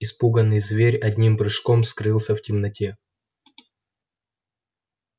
испуганный зверь одним прыжком скрылся в темноте